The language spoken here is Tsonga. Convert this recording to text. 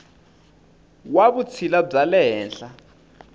wa vutshila bya le henhla